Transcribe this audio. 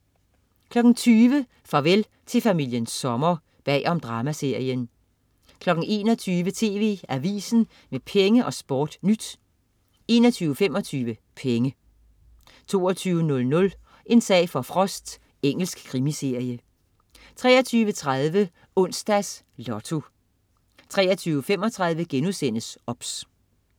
20.00 Farvel til familien Sommer. Bag om dramaserien 21.00 TV AVISEN med Penge og SportNyt 21.25 Penge 22.00 En sag for Frost. Engelsk krimiserie 23.30 Onsdags Lotto 23.35 OBS*